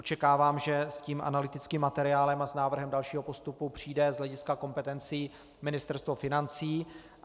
Očekávám, že s tím analytickým materiálem a s návrhem dalšího postupu přijde z hlediska kompetencí Ministerstvo financí.